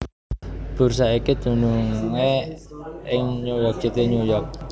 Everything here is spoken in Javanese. Bursa iki dunungé ing New York City New York